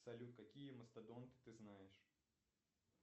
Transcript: салют какие мастодонты ты знаешь